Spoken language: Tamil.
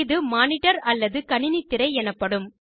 இது மானிடர் அல்லது கணினி திரை எனப்படும்